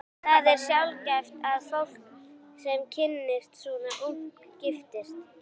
Það er sjaldgæft að fólk, sem kynnist svona ungt, giftist.